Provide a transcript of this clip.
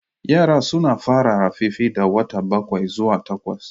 Yara suna fara rarrafe da wata bakwai zuwa takwas